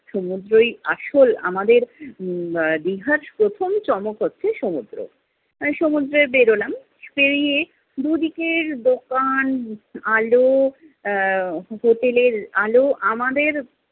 সমুদ্রই আসল আমাদের উম আহ দীঘার প্রথম চমক হচ্ছে সমুদ্র। আহ সমুদ্রে বেরোলাম । বেড়িয়ে দুদিকের দোকান, আলো, আহ হোটেলের আলো, আমাদের